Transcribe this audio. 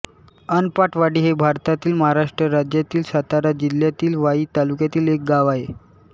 अनपाटवाडी हे भारतातील महाराष्ट्र राज्यातील सातारा जिल्ह्यातील वाई तालुक्यातील एक गाव आहे